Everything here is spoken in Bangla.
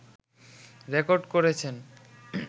রেকর্ড করেছেন